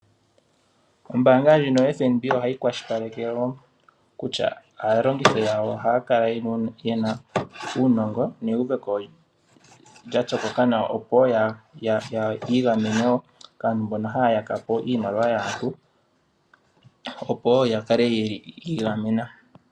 Ombaanga ndjino yeFNB ohayi kwashipaleke woo kutya aalongithi yawo ohaakala yena uunongo neyuveko lya tsokoka nawa. opo yiigameni woo kaantu mbona haya yakapo iimaliwa yaantu, opowo yakale yiigamena.